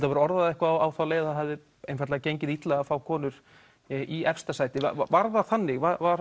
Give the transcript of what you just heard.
hafir orðað það eitthvað á þá leið að það hafi einfaldlega gengið illa að fá konur í efsta sæti var það þannig var